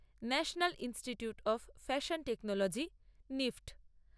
national institute of fashion technology নিফট